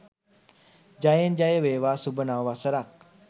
ජයෙන් ජය වේවා සුභ නව වසරක්